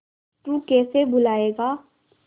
तू कैसे भूलाएगा